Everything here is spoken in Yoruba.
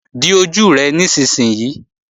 Di ojú rẹ nísinsìnyí!